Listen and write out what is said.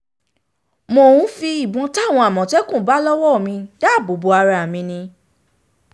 mo n fi ibọn tawọn amọtẹkun ba lọwọ daabo bo ara mi ni